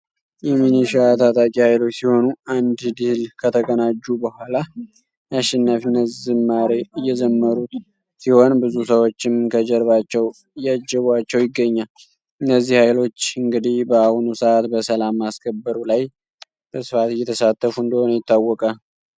የሚኒሻ ታጣቂ ኃይሎች ሲሆኑ አንድ ድህል ከተቀናጁ በኋላ የአሸናፊነት ዝማሬ እዘመሩት ሲሆን ብዙ ሰዎችም ከጀርባቸው እያጀቡዋቸው ይገኛል። እነዚህ ሃይሎች እንግዲ በአሁኑ ሰዓት በሰላም ማስከበሩ ላይ በስፋት እየተሳተፉ እንደሆነ ይታወቃል።